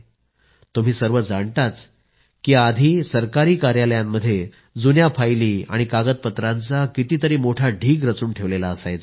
तुम्ही सर्व मंडळी जाणताच की आधी सरकारी कार्यालयांमध्ये जुन्या फायली आणि कागदपत्रांचा कितीतरी मोठा ढीग रचून ठेवलेला असायचा